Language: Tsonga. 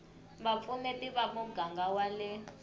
vupfuneti va muganga wa le